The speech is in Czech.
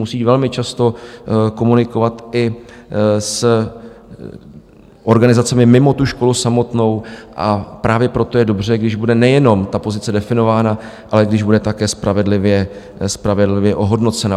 Musí velmi často komunikovat i s organizacemi mimo tu školu samotnou, a právě proto je dobře, když bude nejenom ta pozice definována, ale když bude také spravedlivě ohodnocena.